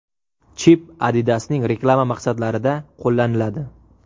Chip Adidas’ning reklama maqsadlarida qo‘llaniladi.